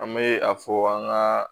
An bɛ a fɔ an ka